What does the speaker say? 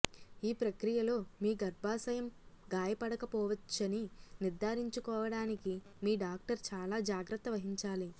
ఈ ప్రక్రియలో మీ గర్భాశయం గాయపడకపోవచ్చని నిర్ధారించుకోవడానికి మీ డాక్టర్ చాలా జాగ్రత్త వహించాలి